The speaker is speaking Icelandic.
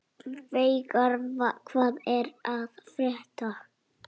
Veigar, hvað er að frétta?